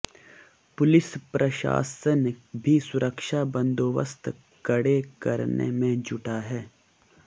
police प्रशासन भी सुरक्षा बंदोबस्त कड़े करने में जुटा है